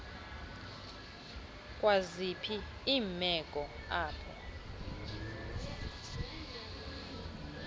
kwaziphi iimeko apho